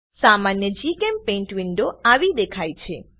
સામાન્ય જીચેમ્પેઇન્ટ વિન્ડો આવી દેખાય છે